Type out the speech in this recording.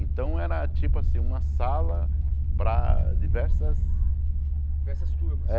Então era tipo assim, uma sala para diversas... Diversas turmas. É